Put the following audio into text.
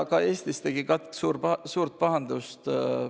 Ka Eestis tegi katk suurt pahandust.